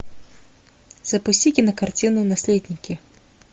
запусти кинокартину наследники